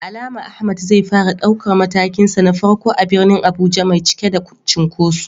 Da alama Ahmad zai fara daukar matakinsa na farko a birnin Abuja mai cike da cunkoso.